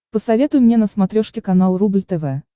посоветуй мне на смотрешке канал рубль тв